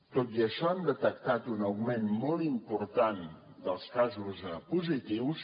tot i això hem detectat un augment molt important dels casos positius